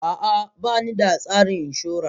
A'a, ba ni da tsarin inshora.